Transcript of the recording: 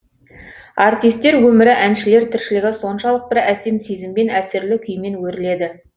артистер өмірі әншілер тіршілігі соншалық бір әсем сезіммен әсерлі күймен өріледі